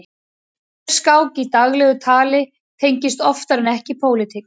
Refskák í daglegu tali tengist oftar en ekki pólitík.